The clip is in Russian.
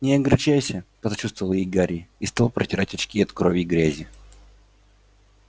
не огорчайся посочувствовал ей гарри и стал протирать очки от крови и грязи